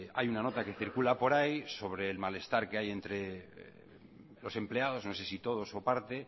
hay una nota que circula por ahí sobre el malestar que hay entre los empleados no sé si todos o parte